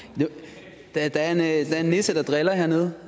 jeg ud der er en nisse der driller hernede